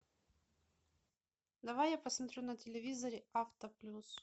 давай я посмотрю на телевизоре авто плюс